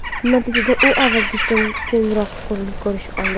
Natijada u avvalgisidan kengroq ko‘rinish oldi.